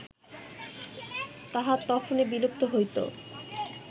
তাহা তখনই বিলুপ্ত হইত